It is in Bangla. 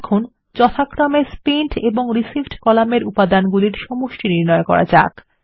এখন আমাদের যথাক্রমে স্পেন্ট এবং Receivedকলামের উপাদানগুলির সমষ্টি নির্ণয় করা যাক